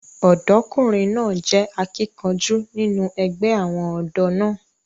ọ̀dọ́kùnrin náà jẹ́ akíkanjú nínú ẹgbẹ́ àwọn ọ̀dọ́ náà